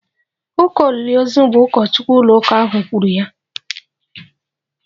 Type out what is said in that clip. Ụka olili ozu bụ ụkọchukwu ụlóụka ahu kwuru ya